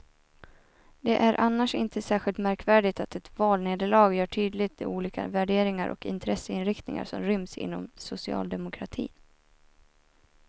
Det är annars inte särskilt märkvärdigt att ett valnederlag gör tydligt de olika värderingar och intresseinriktningar som ryms inom socialdemokratin.